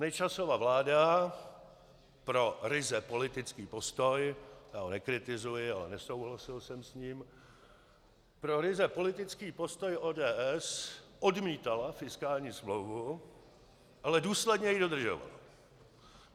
Nečasova vláda pro ryze politický postoj - já ho nekritizuji, ale nesouhlasil jsem s ním - pro ryze politický postoj ODS odmítala fiskální smlouvu, ale důsledně ji dodržovala.